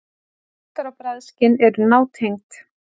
Lyktar- og bragðskyn eru nátengd.